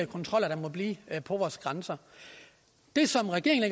kontroller der måtte blive på vores grænser det som regeringen